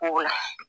Kow la